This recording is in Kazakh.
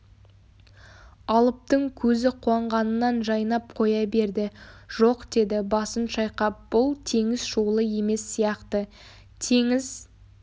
алыптың көзі қуанғанынан жайнап қоя берді жоқ деді басын шайқап бұл теңіз шуылы емес сияқты теңіз